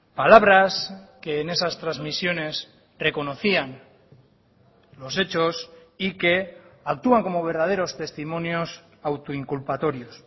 palabras que en esas transmisiones reconocían los hechos y que actúan como verdaderos testimonios auto inculpatorios